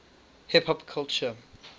hip hop culture